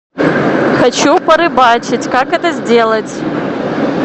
хочу порыбачить как это сделать